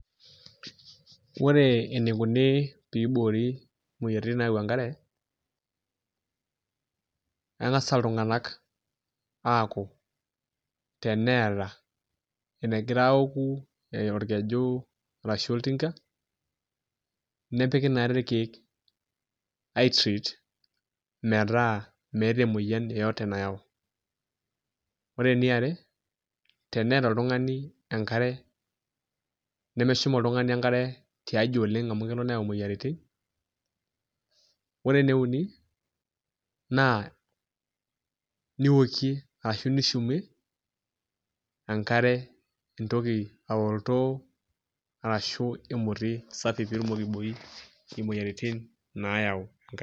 Ore enikoni peiborii moyiaritin nayau enkare, keng'as iltung'ana akuu teneeta enegira aoku, orkeju arashu oltinka nepiki naa irkeek aii treat meeta meeta emotian yoyote nayau. Ore eni are, teneeta oltung'ani enkare, nemeshum oltung'ani enkare tiaji oleng amu kelo neyau imoyiaritin. Ore ene uni naa niokie ashu nishumie enkare entoki oltooo arashu emotiii safi pitumoki aiboii imoyiaritin nayau enkare.